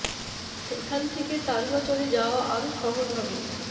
সেখান থেকে তারুয়া চরে যাওয়া আরো সহজ হবে